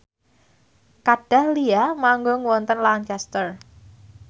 Kat Dahlia manggung wonten Lancaster